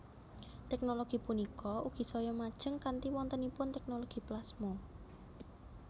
Tèknologi punika ugi saya majeng kanthi wontenipun tèknologi plasma